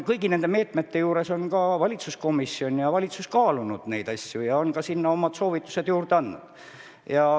Kõigi nende meetmete puhul on valitsuskomisjon ja valitsus neid asju kaalunud ja ka omad soovitused andnud.